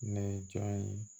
Nɛ jamu ye